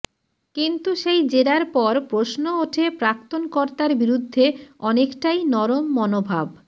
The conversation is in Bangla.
কিন্তু সেই জেরার পর প্রশ্ন ওঠে প্রাক্তন কর্তার বিরুদ্ধে অনেকটাই নরম মনোভাব